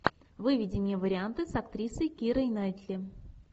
выведи мне варианты с актрисой кирой найтли